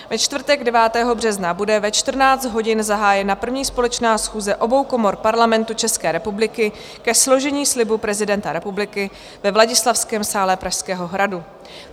Ve čtvrtek 9. března bude ve 14 hodin zahájena 1. společná schůze obou komor Parlamentu České republiky ke složení slibu prezidenta republiky ve Vladislavském sále Pražského hradu.